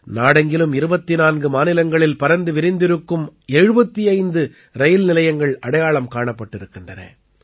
நாடெங்கிலும் 24 மாநிலங்களில் பரந்து விருந்திருக்கும் 75 ரயில் நிலையங்கள் அடையாளம் காணப்பட்டிருக்கின்றன